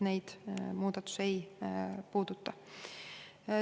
Neid muudatus ei puuduta.